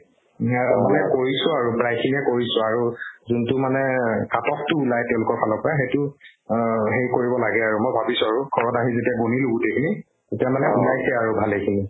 ম্যাৰ মানে কৰিছো আৰু প্ৰায়খিনিয়ে কৰিছো আৰু যোনতো মানে cut off তো নাই তেওঁলোকৰ ফালৰ পৰা সেইটো অ সেই কৰিব লাগে আৰু মই ভাবিছো আৰু কৰা নাই যেতিয়া গণিলো গোটেইখিনি তেতিয়া মানে ওলাইছে আৰু ভালেখিনি